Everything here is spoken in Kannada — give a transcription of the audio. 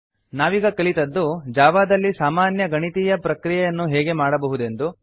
ನಾವೀಗ ಕಲಿತದ್ದು ಜಾವಾದಲ್ಲಿ ಸಾಮಾನ್ಯ ಗಣಿತೀಯ ಪ್ರಕ್ರಿಯೆಯನ್ನು ಹೇಗೆ ಮಾಡಬಹುದೆಂದು